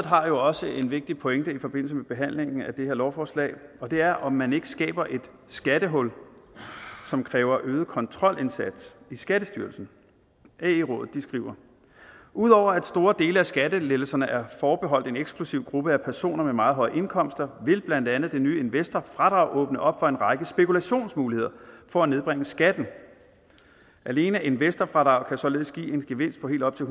har jo også en vigtig pointe i forbindelse med behandlingen af det her lovforslag og det er om man ikke skaber et skattehul som kræver øget kontrolindsats i skattestyrelsen ae skriver udover at store dele af skattelettelserne er forbeholdt en eksklusiv gruppe af personer med meget høje indkomster vil blandt andet det nye investorfradrag åbne op for en række spekulationsmuligheder for at nedbringe skatten alene investorfradraget kan således give en gevinst helt op til